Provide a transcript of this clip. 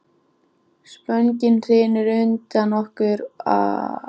Spöngin hrynur undan okkur og hestunum, sagði síra Sigurður.